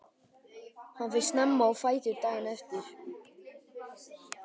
Hann fer snemma á fætur daginn eftir.